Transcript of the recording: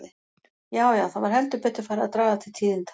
Já, já, það var heldur betur farið að draga til tíðinda!